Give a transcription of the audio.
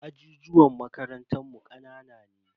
Ajijuwan makarantan mu kanana ne.